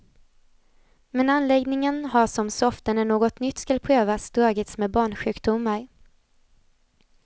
Men anläggningen har som så ofta när något nytt skall prövas dragits med barnsjukdomar.